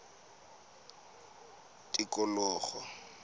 tikologo